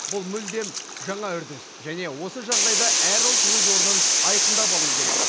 бұл мүлдем жаңа үрдіс және осы жағдайда әр ұлт өз орнын айқындап алуы керек